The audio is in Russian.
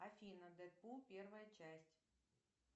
афина дэдпул первая часть